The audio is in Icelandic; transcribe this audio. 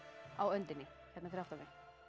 á öndinni hérna fyrir aftan mig